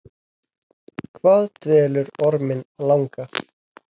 Hvað dvelur orminn langa ?